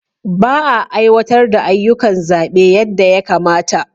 Ba a aiwatar da ayyukan zaɓe yadda ya kamata.